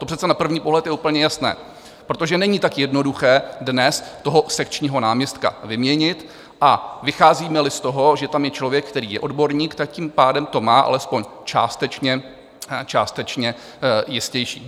To přece na první pohled je úplně jasné, protože není tak jednoduché dnes toho sekčního náměstka vyměnit, a vycházíme-li z toho, že tam je člověk, který je odborník, tím pádem to má alespoň částečně jistější.